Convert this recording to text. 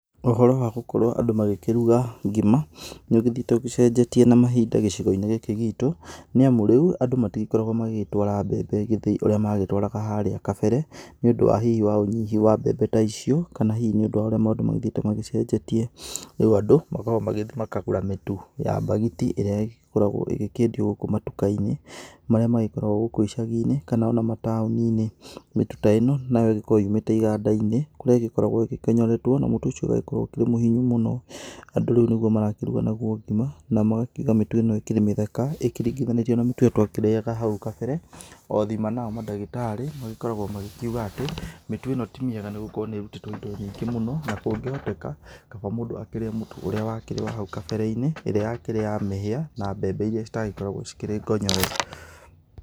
Ũhoro wa gukorwo andũ makĩruga ngima nĩũgĩthĩite ũcenjetie na mahinda gĩcigoinĩ gikĩ gitũ, nĩamu rĩu andũ matigĩkoragwo mbembe gĩthĩi ũrĩa maratwaraga mbembe harĩa kabere nĩ ũndũ hihi wa unyihu wa mbembe ta icio, kana hihi nĩ ũndũ wa ũrĩa maũndũ magĩthiĩte magĩcenjetie. Rĩu andũ makoragwo magĩthiĩ makagũra mĩtu ya mbagiti, ĩrĩa ĩgĩkoragwo ĩkĩendio gũkũ matukũ-inĩ, marĩa makoragwo gũkũ icagiinĩ kana ona mataũni-inĩ .Mĩtu ta ĩno nayo ĩkoragwo yũmĩte igandai-inĩ, kũrĩa ĩkoragwo ĩkonyoretwo, na mũtu ũcio ũgagĩkorwo ũkĩra mũhinyu mũno. Andũ nĩguo marakĩruga ngima, na magakiuga mĩtu ĩno ĩkĩrĩ gĩthaka, ikĩringithanĩtio na mĩtu ĩrĩa twakĩrĩaga hau Kabere. Othima nao mandagĩtarĩ magĩkoragwo makiuga atĩ ,mĩtu ĩno ti mĩega nĩgũkorwo nĩĩrutĩtwo indo nyingĩ mũno, na kũngĩhoteka kaba mũndũ akĩrĩe mũtu ũrĩa wakĩrĩ wa hau kabereinĩ ĩrĩa yakĩrĩ ya mĩhĩa na mbembe iria citagĩkoragwo ĩkĩrĩ ngonyore.